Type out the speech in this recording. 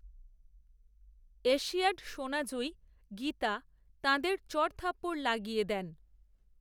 Asiad সোনা জয়ী গীতা তাঁদের চড়থাপ্পড় লাগিয়ে দেন